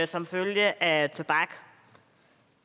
som følge af tobak